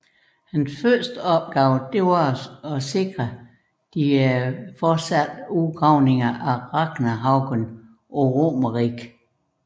Hans første opgave var at sikre de fortsatte udgravninger af Raknehaugen på Romerike